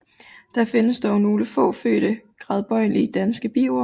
Der findes dog nogle få fødte gradbøjelige danske biord